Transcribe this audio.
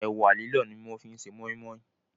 Ẹ̀wà lílọ̀ ni wọ́n fi ṣe Mọ́í mọ́í